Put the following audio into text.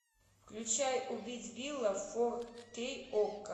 включай убить билла фор кей окко